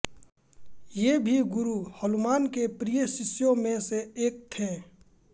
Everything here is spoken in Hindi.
ये भी गुरु हनुमान के प्रिय शिष्यों में से एक थे